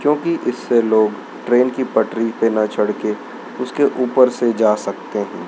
क्योंकि इससे लोग ट्रेन की पटरी पे ना चढ़ के उसके ऊपर से जा सकते हैं।